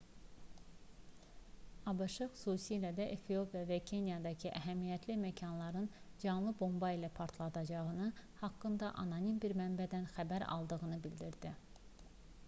abş xüsusilə də efiopiya və kenyadakı əhəmiyyətli məkanların canlı bomba ilə partladılacağı haqqında anonim bir mənbədən xəbər aldığını bildirdi